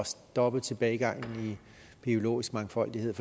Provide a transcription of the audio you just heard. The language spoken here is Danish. stoppe tilbagegangen i biologisk mangfoldighed